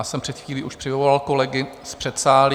Já jsem před chvílí už přivolal kolegy z předsálí.